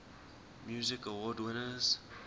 music awards winners